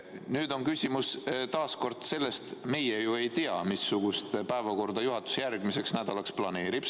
Nüüd on küsimus taas sellest, et meie ju ei tea, missugust päevakorda juhatus järgmiseks nädalaks planeerib.